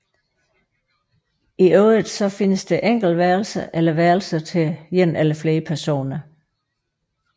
I øvrigt findes enkeltværelser eller værelser til en eller flere personer